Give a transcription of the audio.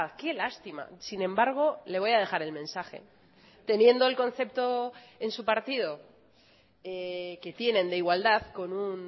qué lástima sin embargo le voy a dejar el mensaje teniendo el concepto en su partido que tienen de igualdad con un